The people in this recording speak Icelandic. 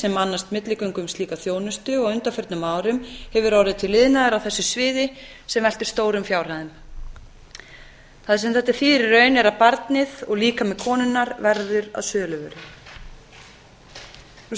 sem annast milligöngu um slíka þjónustu og á undanförnum árum hefur orðið til iðnaður á þessu sviði sem veltir stórum fjárhæðum það sem þetta þýðir í raun er að barnið og líkami konunnar verður að söluvöru annað sé